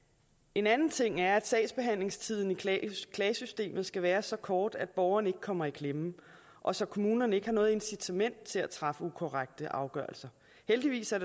en anden ting er at sagsbehandlingstiden i klagesystemet skal være så kort at borgeren ikke kommer i klemme og så kommunerne ikke har noget incitament til at træffe ukorrekte afgørelser heldigvis er